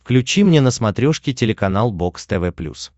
включи мне на смотрешке телеканал бокс тв плюс